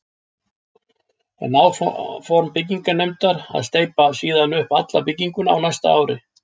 Er áform byggingarnefndar að steypa síðan upp alla bygginguna á næsta ári.